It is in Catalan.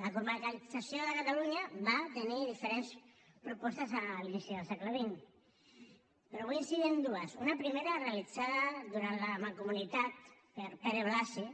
la comarcalització de catalunya va tenir diferents propostes a l’inici del segle xx però vull incidir en dues una primera realitzada durant la mancomunitat per pere blasi